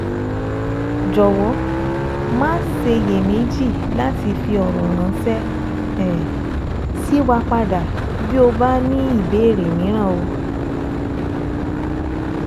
Jọwọ maṣe ṣiyemeji lati fi ọ̀rọ̀ ránṣẹ́ um sí wa padà bí o bá ní ìbéèrè míràn um